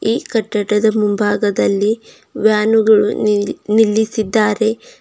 ಈ ಕಟ್ಟಡದ ಮುಂಭಾಗದಲ್ಲಿ ವ್ಯಾನುಗಳು ನಿಲ್ಲಿ ನಿಲ್ಲಿಸಿದ್ದಾರೆ.